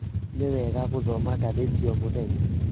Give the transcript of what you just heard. Nĩ wega gũthoma ngathĩti o mũthenya.